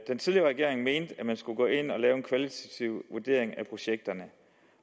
den tidligere regering mente at man skulle gå ind at lave en kvalitativ vurdering af projekterne